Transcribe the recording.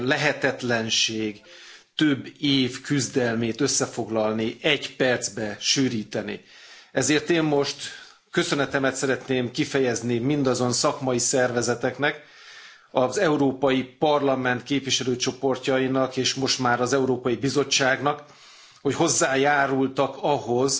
Tisztelt Elnök Úr! Lehetetlenség több év küzdelmét összefoglalni, egy percbe sűríteni. Ezért én most köszönetemet szeretném kifejezni mindazon szakmai szervezeteknek, az Európai Parlament képviselőcsoportjainak és most már az Európai Bizottságnak, hogy hozzájárultak ahhoz,